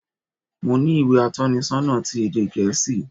Mo ní ìwé atónisonà ti ède gèésì